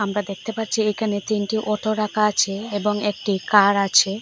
আমরা দেকতে পাচ্চি একানে তিনটি ওটো রাকা আছে এবং একটি কার আছে।